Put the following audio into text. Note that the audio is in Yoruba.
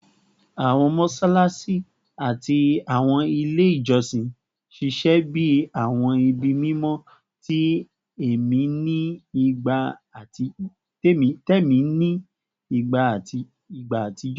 Awọn mọṣalaṣi ati awọn ile ijọsin ṣiṣẹ bi awọn ibi mimọ ti ẹmi ni igba atijọ